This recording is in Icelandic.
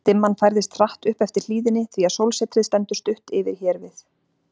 Dimman færðist hratt upp eftir hlíðinni, því að sólsetrið stendur stutt yfir hér við